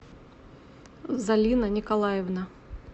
залина николаевна